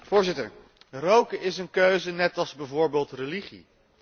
Voorzitter, roken is een keuze net als bijvoorbeeld religie.